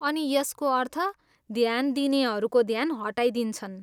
अनि यसको अर्थ ध्यान दिनेहरूको ध्यान हटाइदिन्छन्।